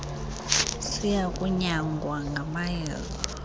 siya kunyangwa ngamayeza